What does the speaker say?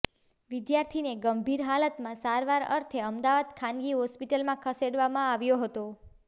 વિધાર્થીને ગંભીર હાલતમાં સારવાર અર્થે અમદાવાદ ખાનગી હોસ્પીલમાં ખસેડવામાં આવ્યો હતો